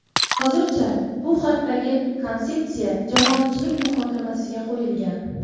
Hozircha bu haqdagi konsepsiya jamoatchilik muhokamasiga qo‘yilgan.